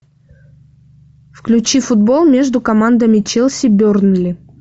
включи футбол между командами челси бернли